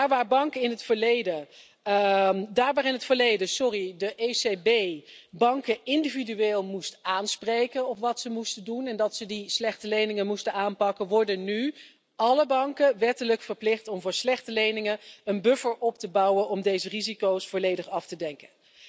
Daar waar in het verleden de ECB banken individueel moest aanspreken op wat ze moesten doen en moest vertellen dat ze die slechte leningen moesten aanpakken, worden nu alle banken wettelijk verplicht om voor slechte leningen een buffer op te bouwen om deze risico's volledig af te dekken.